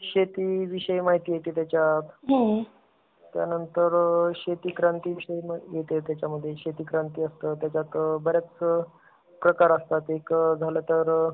शेती विषयी माहिती येति त्याच्यात. त्या नंतर शेती क्रांती विषयी माहिती येति त्याचा मध्ये शेती क्रांती असतं , त्याच्यात बऱ्याच प्रकार असतं. एक झाला तर,